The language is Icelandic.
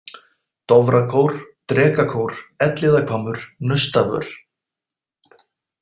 Dofrakór, Drekakór, Elliðavammur, Naustavör